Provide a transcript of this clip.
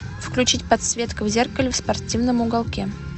включить подсветка в зеркале в спортивном уголке